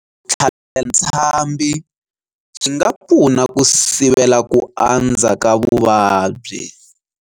Ku tlhavela ntshambhi swi nga pfuna ku sivela ku andza ka vuvabyi.